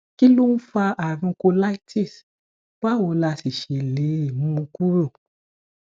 kí ló ń fa àrùn colitis báwo la sì ṣe lè mú kúrò